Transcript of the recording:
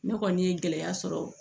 Ne kɔni ye gɛlɛya sɔrɔ